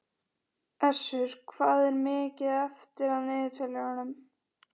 Össur, hvað er mikið eftir af niðurteljaranum?